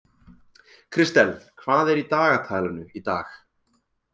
Kristel, hvað er í dagatalinu í dag?